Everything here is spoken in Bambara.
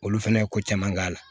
Olu fɛnɛ ye ko caman k'a la